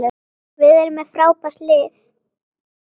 Við erum með frábært lið.